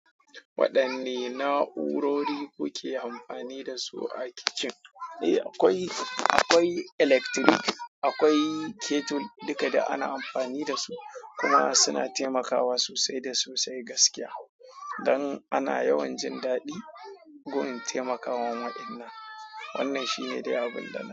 Waɗanne na'urori kuke amfani da su a kicin? Eh, akwai, akwai electric, akwai kettle, duka duk ana amfani da su kuma suna taimakawa sosai da sosai gaskiya. Don ana yawan jin daɗi gun taimaka wan wa'inna. Wannan shi ne dai abun dana.